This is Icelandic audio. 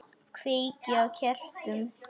Kveiki á kertum.